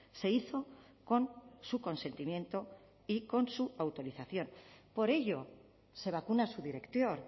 se hizo con su consentimiento y con su autorización por ello se vacuna su director